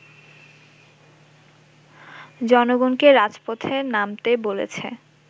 জনগণকে রাজপথে নামতে বলেছে